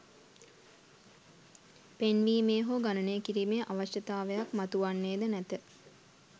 පෙන්වීමේ හෝ ගණනය කිරීමේ අවශ්‍යතාවයක් මතුවන්නේද නැත.